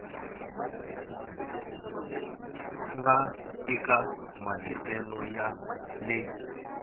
nga eka mahiselo ya le